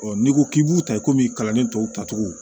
n'i ko k'i b'u ta komi kalanden tɔw ta cogo